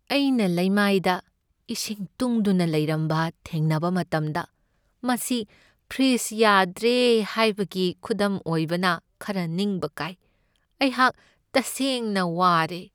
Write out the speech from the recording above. ꯑꯩꯅ ꯂꯩꯃꯥꯏꯗ ꯏꯁꯤꯡ ꯇꯨꯡꯗꯨꯅ ꯂꯩꯔꯝꯕ ꯊꯦꯡꯅꯕ ꯃꯇꯝꯗ, ꯃꯁꯤ ꯐ꯭ꯔꯤꯖ ꯌꯥꯗ꯭ꯔꯦ ꯍꯥꯏꯕꯒꯤ ꯈꯨꯗꯝ ꯑꯣꯏꯕꯅ ꯈꯔ ꯅꯤꯡꯕ ꯀꯥꯏ ꯫ ꯑꯩꯍꯥꯛ ꯇꯁꯦꯡꯅ ꯋꯥꯔꯦ ꯫